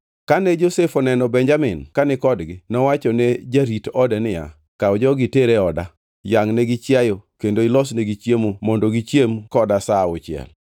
Kane Josef oneno Benjamin kani kodgi, nowacho ne jarit ode niya, “Kaw jogi iter oda, yangʼnegi chiayo kendo ilosnegi chiemo mondo gichiem koda sa auchiel.”